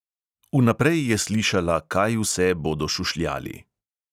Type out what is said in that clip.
Vnaprej je slišala, kaj vse bodo šušljali.